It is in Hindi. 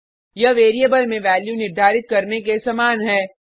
यह वेरिएबल में वैल्यू निर्धारित करने के समान है